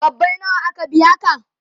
kwabbai nawa aka biya ka?